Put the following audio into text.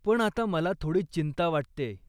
पण आता मला थोडी चिंता वाटतेय.